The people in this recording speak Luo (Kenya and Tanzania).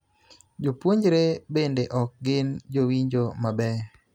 Jopuonjre bende ok gin jowinjo mabeyo